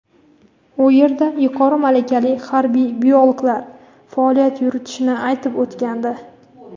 u yerda yuqori malakali harbiy biologlar faoliyat yuritishini aytib o‘tgandi.